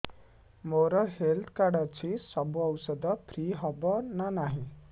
ମୋର health card ଅଛି ସବୁ ଔଷଧ ଫ୍ରି ହବ ନା ନାହିଁ